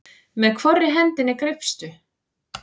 Með hvorri hendinni greipstu?